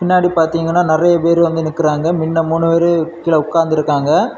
பின்னாடி பாத்தீங்கன்னா நிறைய பேரு வந்து நிக்கறாங்க மின்ன மூணு பேர் கீழே உக்காந்து இருக்காங்க.